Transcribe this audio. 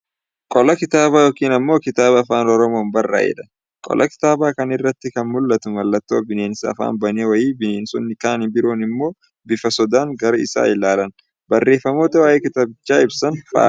Qola kitaabaa yookiin ammoo kitaaba Afaan Oromoon barraa'edha. Qola kitaaba kanaa irratti kan mul'atu mallatto bineensa afaan bane wayii bineensonni kan biroon immoo bifa sodaan gara isaa ilaalan, barreeffamoota waa'ee kitaabichaa ibsan fa'aadha.